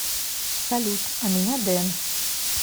салют а меня дэн